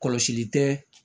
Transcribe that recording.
Kɔlɔsili tɛ